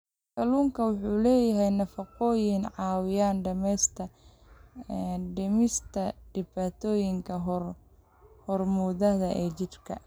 Kalluunku waxa uu leeyahay nafaqooyin caawiya dhimista dhibaatooyinka hormoonnada ee jidhka.